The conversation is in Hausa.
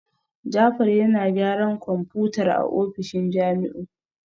Jafar yana gyaran kwamfutar a ofishin Jamiu